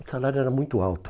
O salário era muito alto.